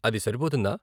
అది సరిపోతుందా?